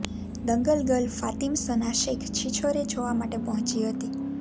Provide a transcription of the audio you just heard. Dangal girl Fatima Sana Shaikh Chhichhore જોવા માટે પહોંચી હતી